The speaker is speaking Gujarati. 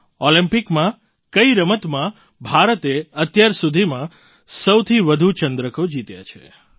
ઑલિમ્પિકમાં કઈ રમતમાં ભારતે અત્યાર સુધીમાં સૌથી વધુ ચંદ્રકો જીત્યાં છે